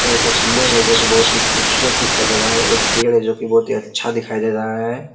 यहाँ का पिलर हैं जो की बहुत ही खूबसूरत दिखाई दे रहा हैं और एक पेड़ हैं जो की बहुत ही अच्छा दिखाई दे रहा हैं।